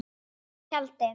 Í tjaldi.